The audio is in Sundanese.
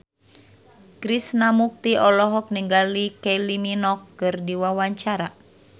Krishna Mukti olohok ningali Kylie Minogue keur diwawancara